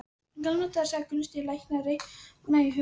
Í gamla daga, sagði Gunnsteinn læknir og reiknaði í huganum.